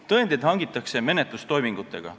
Tõendeid hangitakse menetlustoimingutega.